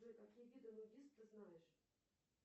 джой какие виды нудист ты знаешь